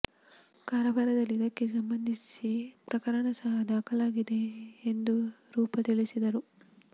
ಕಾರವಾರದಲ್ಲಿ ಇದಕ್ಕೆ ಸಂಬಂಧಿಸಿ ಪ್ರಕರಣ ಸಹ ದಾಖಲಾಗಿದೆ ಎಂದು ರೂಪ ತಿಳಿಸಿದರು